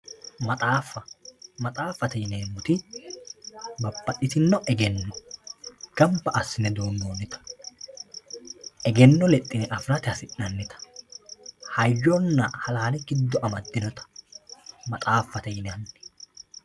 Maxaafa maxaafate yinemowoyite gidose babaxitino egeno ganba asine duunonita egeno lexine afirate hasinanita hayyona halaale giddo amadinota maxaafate yinani.